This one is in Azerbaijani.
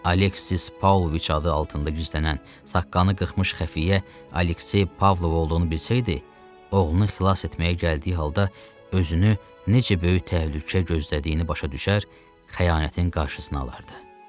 Alexis Pavloviç adı altında güclənən saqqalını qırxmış xəfiyyə Aleksey Pavlov olduğunu bilsəydi, oğlunu xilas etməyə gəldiyi halda özünü necə böyük təhlükə gözlədiyini başa düşər, xəyanətin qarşısını alardı.